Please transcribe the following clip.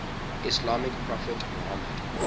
islamic prophet muhammad